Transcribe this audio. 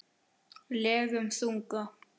legum þunga.